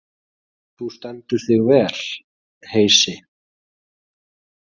Þú stendur þig vel, Heisi!